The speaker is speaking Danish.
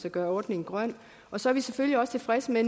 at gøre ordningen grøn og så er vi selvfølgelig også tilfredse med